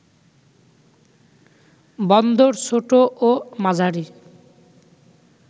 বন্দর ছোট ও মাঝারি